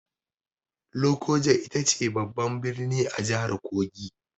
Lokoja ita ce babban birnin jihar Kogi.